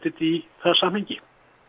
í það samhengi